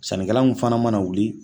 Sannikɛla min fana mana wuli